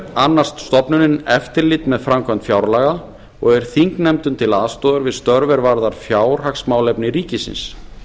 annast stofnunin eftirlit með framkvæmd fjárlaga og er þingnefndum til aðstoðar við störf er varða fjárhagsmálefni ríkisins